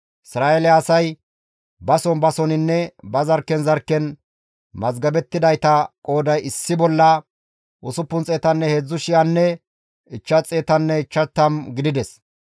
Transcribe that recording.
Isra7eele asay bason basoninne ba zarkken zarkken mazgabettidayta qooday issi bolla 603,550 gidides.